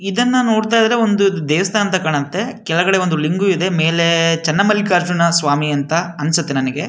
ಇದನ್ನ ನೋಡ್ತಾ ಇದ್ರೆ ಒಂದು ದೇವಸ್ಥಾನ ಅಂತ ಕಾಣುತ್ತೆ ಕೆಳಗಡೆ ಒಂದು ಲಿಂಗು ಇದೆ ಮೇಲೆ ಚೆನ್ನಮಲ್ಲಿಕಾರ್ಜುನ ಸ್ವಾಮಿ ಅಂತ ಅನ್ಸುತ್ತೆ ನನಗೆ.